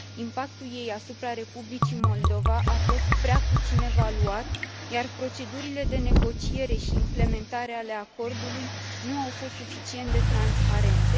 Impactul ei asupra Republicii Moldova a fost prea puțin evaluat, iar procedurile de negociere și implementare a acordului nu au fost suficient de transparente.